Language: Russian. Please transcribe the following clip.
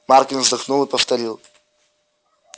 маркин вздохнул и повторил